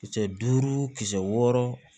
Kisɛ duuru kisɛ wɔɔrɔ